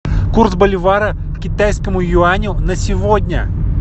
курс боливара к китайскому юаню на сегодня